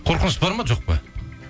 қорқыныш бар ма жоқ па